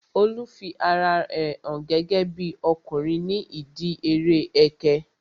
Olu fi ara rẹ hàn gẹ́gẹ́bí ọkùnrin ní ìdíi eré ẹkẹ